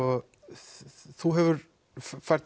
þú hefur fært